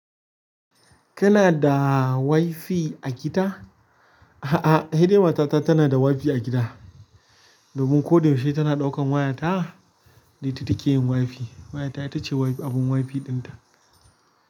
Kana da WiFi a gida? A'a, sai dai matata tana da WiFi a gida. Domin ko da yaushe tana ɗaukan wayarta da ita take yin WiFi. Waya ta ita ce abun WiFi ɗinta.